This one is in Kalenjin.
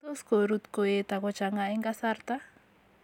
Tos koruut koet ak kochanga en kasarta.